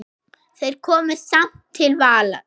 Þeir komust samt til valda.